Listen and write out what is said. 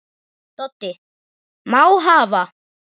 Doddi: Má hafa